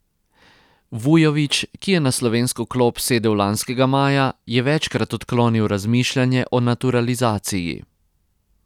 Vujović, ki je na slovensko klop sedel lanskega maja, je večkrat odklonil razmišljanje o naturalizaciji.